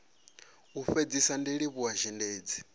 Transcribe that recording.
u fhedzisa ndi livhuwa zhendedzi